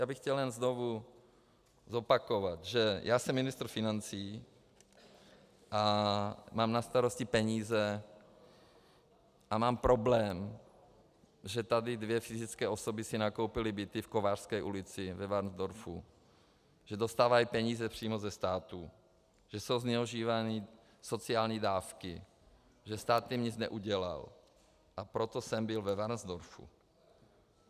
Já bych chtěl jen znovu zopakovat, že já jsem ministr financí a mám na starosti peníze a mám problém, že tady dvě fyzické osoby si nakoupily byty v Kovářské ulici ve Varnsdorfu, že dostávají peníze přímo ze státu, že jsou zneužívány sociální dávky, že stát jim nic neudělal, a proto jsem byl ve Varnsdorfu.